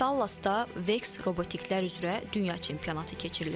Dallasda Vex robotiklər üzrə dünya çempionatı keçirilib.